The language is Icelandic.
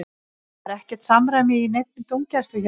Það var ekkert samræmi í neinni dómgæslu hjá honum.